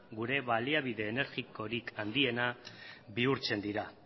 gure baliabide energikorik handiena bihurtzen dira